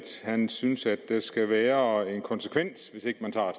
han synes at der skal være en konsekvens hvis ikke man tager